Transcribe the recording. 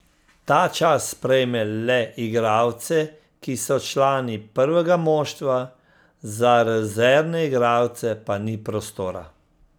Ta čas sprejme le igralce, ki so člani prvega moštva, za rezervne igralce ni prostora.